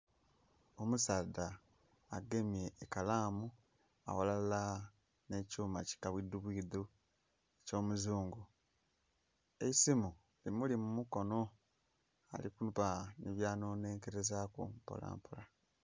Omusaadha agemye ekalaamu aghalala nh'ekyuma ki kabwidhubwidhu eky'omuzungu. Eisimu emuli mu mukono. Ali kuba nhi byanhonhenkelezaaku mpolampola.